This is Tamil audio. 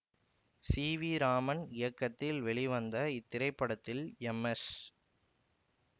சி வி ராமன் இயக்கத்தில் வெளிவந்த இத்திரைப்படத்தில் எம் எஸ்